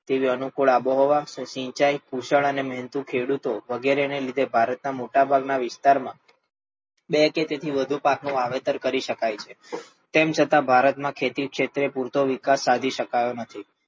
તેવી અનુકૂળ આબોહવા, સિંચાઇ અને કુશળ ને મહેનતુ ખેડૂતો વગેરે ને લીધે ભારત ના મોટા ભાગના વિસ્તાર માં બે કે તેથી વધુ પાક નું વાવેતર કરી શકાય છે. તેમ છતાં ભારત માં ખેતી ક્ષેત્રે પૂરતો વિકાસ સાધી શકાયો નથી.